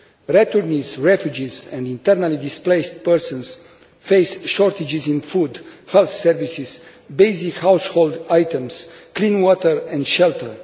Returnees, refugees and internally displaced persons face shortages in food, health services, basic household items, clean water and shelter.